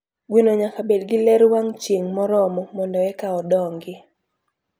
Gweno nyaka bed gi ler wang chieng moromo mondo eka odongi.